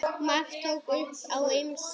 Már tók upp á ýmsu.